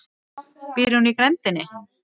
Býr hún í grenndinni?